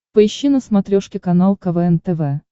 поищи на смотрешке канал квн тв